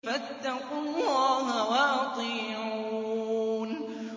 فَاتَّقُوا اللَّهَ وَأَطِيعُونِ